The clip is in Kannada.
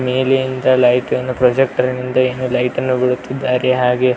ಮೇಲಿಂದ ಲೈಟ್ ನ್ನು ಪ್ರೊಜೆಕ್ಟರ್ ಮುಂದೆ ಏನೋ ಲೈಟ್ ನ್ನು ಬಿಡುತ್ತಿದ್ದಾರೆ ಹಾಗೆ --